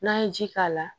N'an ye ji k'a la